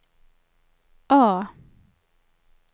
A